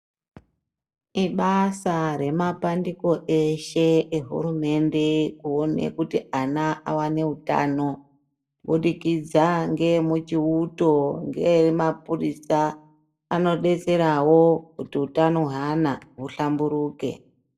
Ibasa re mapandiko eshe e hurumende kuone kuti ana awane utano kubudikidza nge muchioto nge mapurisa ano detserawo kuti utano hwe ana hu hlamburuke.